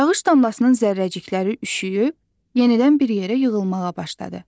Yağış damlasının zərrəcikləri üşüyüb, yenidən bir yerə yığılmağa başladı.